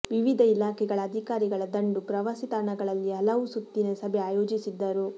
ವಿವಿಧ ಇಲಾಖೆಗಳ ಅಧಿಕಾರಿಗಳ ದಂಡು ಪ್ರವಾಸಿತಾಣಗಳಲ್ಲಿ ಹಲವು ಸುತ್ತಿನ ಸಭೆ ಆಯೋಜಿಸಿದ್ದರು